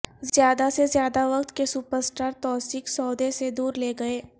زیادہ سے زیادہ وقت کے سپر اسٹار توثیق سودے سے دور لے گئے